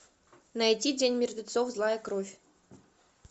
найди день мертвецов злая кровь